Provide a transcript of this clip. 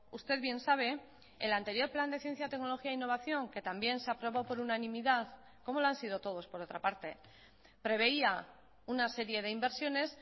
usted bien sabe el anterior plan de ciencia tecnología e innovación que también se aprobó por unanimidad como lo han sido todos por otra parte preveía una serie de inversiones